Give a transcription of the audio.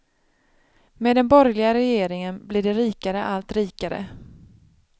Med den borgerliga regeringen blir de rikare allt rikare.